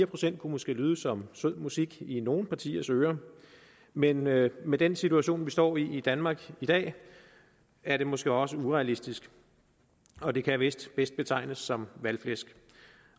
procent kunne måske lyde som sød musik i nogle partiers ører men med med den situation vi står i danmark i dag er det måske også urealistisk og det kan vist bedst betegnes som valgflæsk